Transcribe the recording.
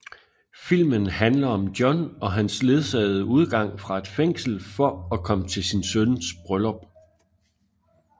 Filmen handler om John og hans ledsagede udgang fra et fængsel for at komme til sin søns bryllup